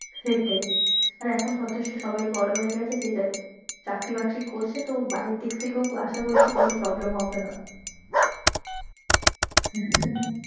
সেটাই আর এখন যথেষ্ট সবাই বড়ো হয়ে গেছে যে যার চাকরি বাকরি করছে তো বাড়ির দিক থেকেও আশা করছি কোনো problem হবে না,